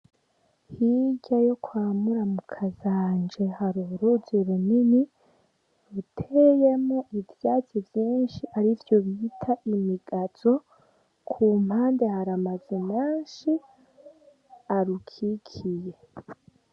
Hirya yo kwa muramukazanje hari uruzi runini ruteyemwo ivyatsi vyinshi arivyo bita imigazo, ku mpande har'amazu menshi arukikiye .